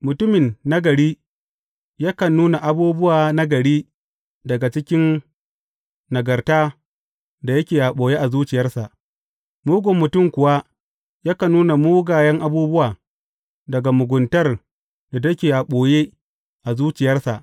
Mutumin nagari yakan nuna abubuwa nagari daga cikin nagarta da yake a ɓoye a zuciyarsa, mugun mutum kuwa yakan nuna mugayen abubuwa daga muguntar da take a ɓoye a zuciyarsa.